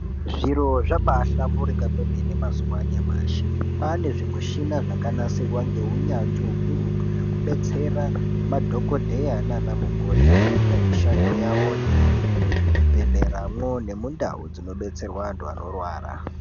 Zviro zvabaahlamburuka kwemene mazuwa anyamashi kwaane zvimushina zvakanasirwa ngeunyanzvi ukurutu zvekudetsera madhokodheya nana mukoti kuita mishando yawoyo muzvibhedhleramo nemundau dzinod3tserwa anthu anorwara.